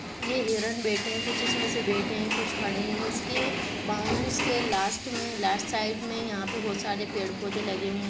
ये हिरण बेठे है कुछ इसमे से कुछ बेठे है कुछ खड़े है इसके बाउंड्रीस के लास्ट मे लास्ट साइड मे यहाँ पे बहुत सारे पेड़ पौधे लगे हुए--